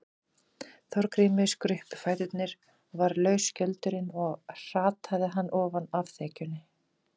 Þorgrími skruppu fæturnir og varð laus skjöldurinn og hrataði hann ofan af þekjunni.